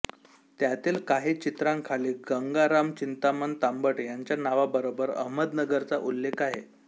त्यातील काही चित्रांखाली गंगाराम चिंतामण तांबट यांच्या नावाबरोबर अहमदनगरचा उल्लेख आहे